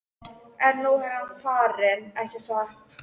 En nú er hann farinn, ekki satt?